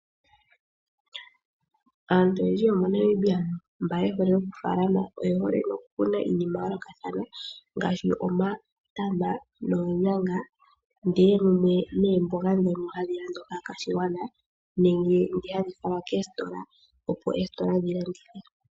Aantu oyendji yomo Namibia mba ye hole oku falama oye hole noku kuna iinima ya yoolokathana ngaashi omatama noonyanga ndee neemboga dhono hadhi landwa kaakwashigwana nenge dhi hadhi falwa keestola opo eestola dhi landithe.